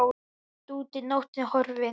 Bjart úti og nóttin horfin.